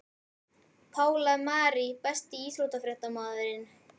Pála Marie Besti íþróttafréttamaðurinn?